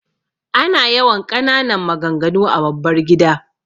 Ana yawan ƙananan maganganu a babbar gida.